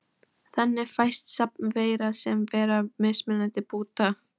Þannig fæst safn veira sem bera mismunandi búta.